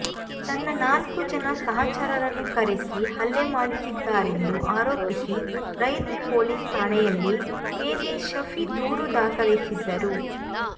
ತನ್ನ ನಾಲ್ಕು ಜನ ಸಹಚರರನ್ನು ಕರೆಸಿ ಹಲ್ಲೆ ಮಾಡಿಸಿದ್ದಾರೆಂದು ಆರೋಪಿಸಿ ರೈಲ್ವೆ ಪೊಲೀಸ್ ಠಾಣೆಯಲ್ಲಿ ಪೇದೆ ಶಫಿ ದೂರು ದಾಖಲಿಸಿದ್ದರು